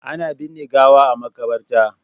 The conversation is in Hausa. Ana binne gawa a Makabarta.